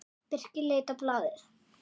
Birkir leit á blaðið.